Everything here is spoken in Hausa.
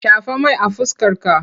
Shafa mai a fuskarka!